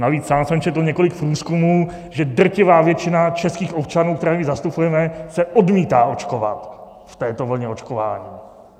Navíc sám jsem četl několik průzkumů, že drtivá většina českých občanů, které zastupujeme, se odmítá očkovat v této vlně očkování.